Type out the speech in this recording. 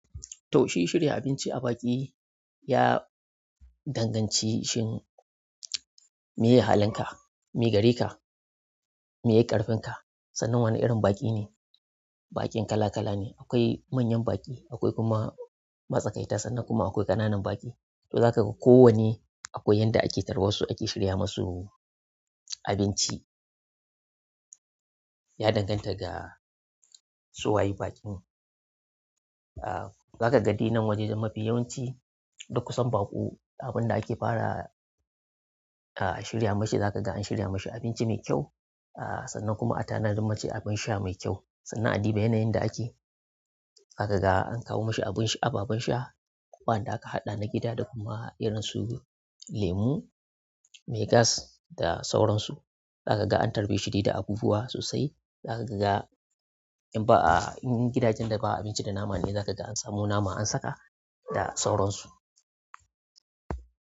Toh, shi shirya abinci a baƙi ya danganci shin meye halinka, meye gare ka, meye ƙarfin ka, sannan wane irin baƙi ne. Baƙin kala kala ne, akwai manyan baƙi, akwai kuma matsakaita sannan kuma akwai ƙananun baƙi to zaka ga kowanne akwai yanda ake tarbar su, ake shirya musu abinci. Ya dangata da su waye baƙin, ah, zaka ga dai nan wajajen mafi yawanci, duk kusan baƙo, abin da ake fara shirya masu zaka ga an shirya masu abinci mai kyau, sannan kuma a tanadar masu abin sha mai kyau. Sannan a bi da yanayin da ake, zaka ga an kawo mashi abun ci, ababen sha, wa'anda aka haɗa na gida da kuma irin su lemu, mai gas da sauransu. Zaka ga an tarbe shi dai da abubuwa sosai. Zaka ga in ba a, in gidajen da ba a abinci da nama ne zaka ga an samo nama an saka da sauran su.